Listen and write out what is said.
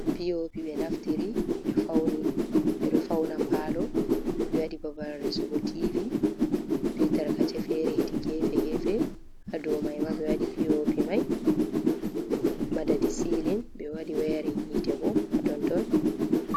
POP, ɓe naftiri ɓe ɗoo fauna paalo ɓe wadi babal resugo tivi be tarkace fere, hedi gefe gefe, ha dou maima be waɗi POP mai madadi silin, ɓe waɗi wayarin, yiitee boo hatonton.